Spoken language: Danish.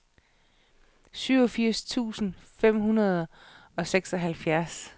syvogfirs tusind fem hundrede og seksoghalvfjerds